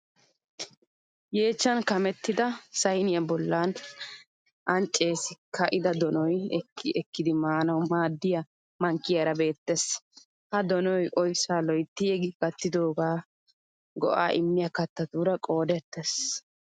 Yeechchan kamettida sayiniya bollan anccesi ka'ida donoy ekki ekkidi maanawu maaddiya mankkiyaara beettes. Ha donoy oyssaa loytti yeggi kattidoogaa ka go'aa immiya kattatuura qoodettes.